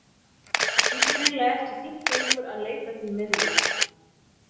Það þykir hreinlega ekki fínt lengur að leita til miðla.